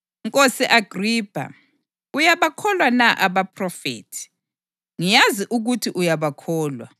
Nkosi Agripha, uyabakholwa na abaphrofethi? Ngiyazi ukuthi uyabakholwa.”